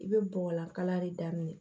I bɛ bɔgɔlan kala de daminɛ